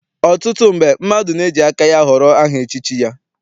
Ọtụtụ mgbe, mmadụ na-eji aka ya họrọ aha echichi ya.